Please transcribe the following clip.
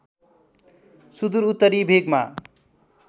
सुदूर उत्तरी भेगमा